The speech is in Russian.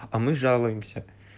а мы жалуемся